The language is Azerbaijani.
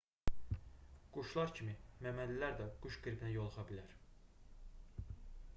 quşlar kimi məməlilər də quş qripinə yoluxa bilər